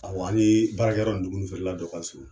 Awɔ ani baarakɛyɔrɔ nin dumuni feerela dɔ ka surun.